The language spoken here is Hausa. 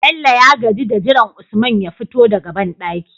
Bello ya gaji da jiran usman ya fito daka banɗaki